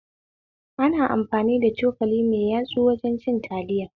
Ana amfani da cokali mai yatsu wajen cin taliya